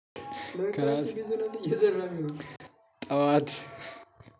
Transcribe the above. ጠዋት